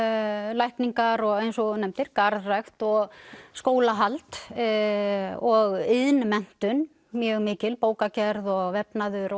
lækningar og eins og þú nefndir garðrækt og skólahald og iðnmenntun mjög mikil bókagerð og vefnaður